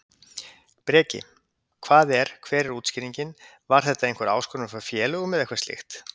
Breki: Hvað er, hver er útskýringin, var þetta einhver áskorun frá félögum eða eitthvað slíkt?